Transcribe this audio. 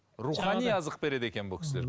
рухани азық береді екен бұл кісілер